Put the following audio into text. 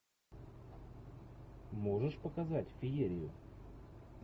можешь показать феерию